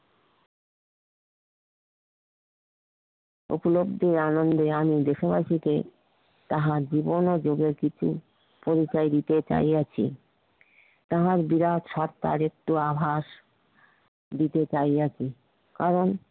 উপলব্ধি আনন্দে আমি দেশময় থেকে তাহার জীবনে যুগে কিছু পরিচয় দিতে চাইয়াছি তাহার বিরাট আভাস দিতে চাইয়াছি কারণ